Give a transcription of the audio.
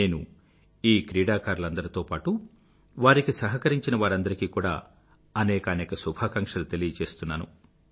నేను ఈ క్రీడాకారులందరితో పాటూ వారికి సహకరించినవారందరికీ కూడా అనేకానేక శుభాకాంక్షలు తెలియచేస్తున్నాను